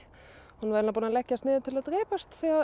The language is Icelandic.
hún var búin að leggjast niður til að drepast þegar